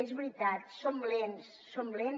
és veritat som lents som lents